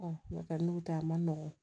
n'o tɛ n'u tɛ a ma nɔgɔn